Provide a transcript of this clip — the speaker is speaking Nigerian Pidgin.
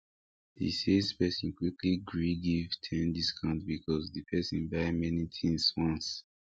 the sales person quickly gree give ten discount because the person buy many things once